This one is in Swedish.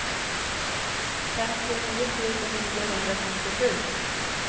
femtionio tusen niohundrafemtiosju